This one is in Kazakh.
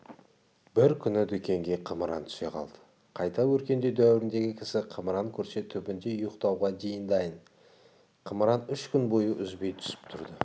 бір күні дүкенге қымыран түсе қалды қайта өркендеу дәуіріндегі кісі қымыран көрсе түбінде ұйықтауға дейін дайын екен қымыран үш күн бойы үзбей түсіп тұрды